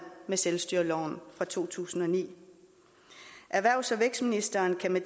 med selvstyreloven fra to tusind og ni erhvervs og vækstministeren kan med